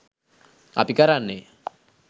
අපි කරන්නේ